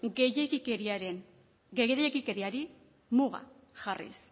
gehiegikeriari muga jarriz